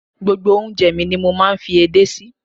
Gbogbo oúnjẹ ni mo máa ń fi ede sí.